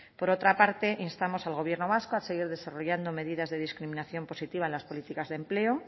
por otra parte instamos al gobierno vasco a seguir desarrollando medidas de discriminación positiva en las políticas de empleo